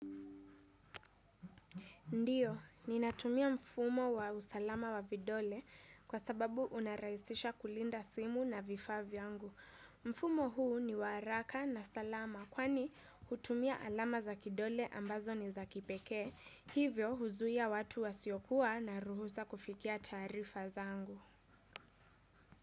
Ndiyo, ninatumia mfumo wa usalama wa vidole kwa sababu unaraisisha kulinda simu na vifa vyangu. Mfumo huu ni waraka na salama kwani hutumia alama za kidole ambazo ni za kipeke. Hivyo huzuia watu wasiokua na ruhusa kufikia tarifa zangu.